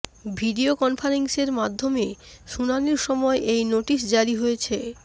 video কনফারেন্সিংয়ের মাধ্যমে শুনানির সময় এই নোটিশ জারি হয়েছে